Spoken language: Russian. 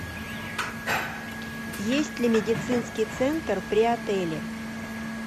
есть ли медицинский центр при отеле